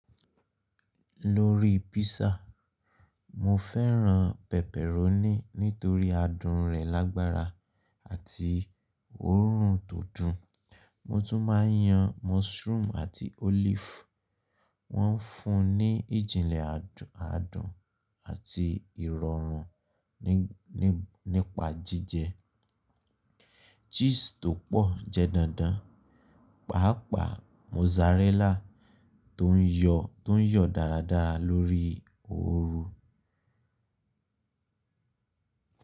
Lórí písà, mo fẹ́ran pepperoni nítorí adùn rẹ̀ lágbára àti òórùn tó dùn. Mo tún máa yan mushroom àti olive. Wọ́n fún un ní ìjìnlẹ̀ adùn, adun àti ìrọ̀rùn nípa jíjẹ. Cheese tó pọ̀ jẹ́ dandan, pàápàá mozzarella tó ń yọ̀, to n yo dáradára lórí òórù.